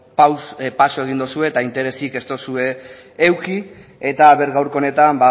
pausuak egin dituzue eta interesik ez duzue eduki eta ea gaurko honetan